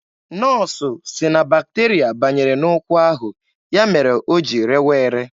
Nọọsụ sị na bakterịa banyere n'ụkwụ ahụ, ya mere o ji rewa ere.